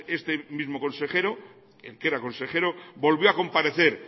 este mismo consejero el que era consejero volvió a comparecer